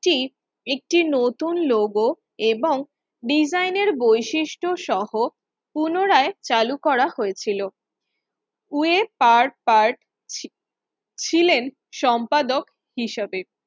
একটি নতুন লোগো এবং ডিজাইনের বৈশিষ্ট্যসহ পুনরায় চালু করা হয়েছিল, ওয়েব কার পাড ছিলেন সম্পাদক হিসাবে